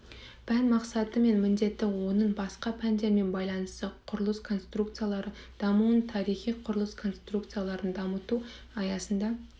пән мақсаты және міндеті оның басқа пәндермен байланысы құрылыс конструкциялары дамуының тарихы құрылыс конструкцияларын дамыту аясында